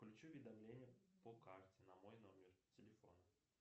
включи уведомление по карте на мой номер телефона